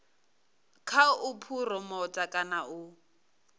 kha u phuromotha kana u